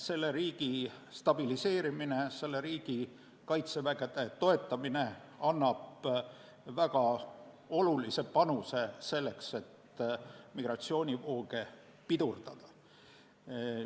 Selle riigi stabiliseerimine ja tema kaitsevägede toetamine annab väga suure panuse migratsioonivoogude pidurdamiseks.